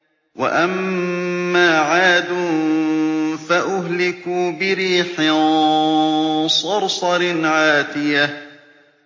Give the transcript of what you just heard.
وَأَمَّا عَادٌ فَأُهْلِكُوا بِرِيحٍ صَرْصَرٍ عَاتِيَةٍ